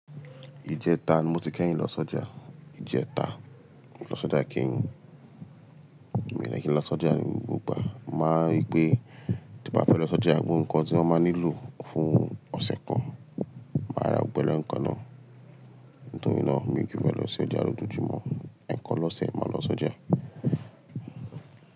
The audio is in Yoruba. Ijètá ni mo ti kẹ́yin lọ s'ọjà, ijètá. Mo ti lọ s'ọjà kẹ́yìn, mi ò dẹ́ kí ń lọ s'ọjà ní gbogbo ìgbà. Mọ̀ má wa rí pé to bá fẹ́ lọ s'ọjà gbogbo ǹkan tí wọ́n máa nílò fún ọ̀sẹ̀ kan, màá ra gbogbo lẹ ǹkan náà. Nítorí náà mi ò kí fẹ́ lọ s'ọjà lójoojúmọ́. Ẹ̀kan l'ọ̀sẹ̀ ni mo ma ń lọ sọ́jà.